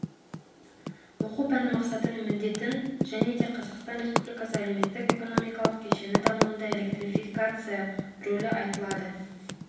оқу пәні мақсаты мен міндетін және де қазақстан республикасы әлеуметтік экономикалық кешені дамуында электрификация рөлі айтылады